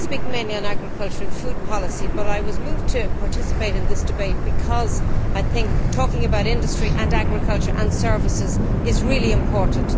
I speak mainly on agriculture and food policy, but I was moved to participate in this debate because I think talking about industry and agriculture and services is really important.